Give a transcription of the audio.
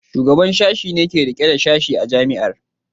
Shugaban Sashen ne ke rike da Sashe a Jami'ar.